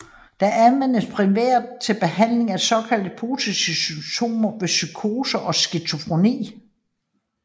Det anvendes primært til behandling af de såkaldt positive symptomer ved psykoser og skizofreni